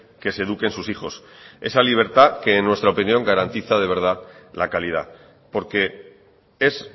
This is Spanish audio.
que se eduquen sus hijos esa libertad que en nuestra opinión garantiza de verdad la calidad porque es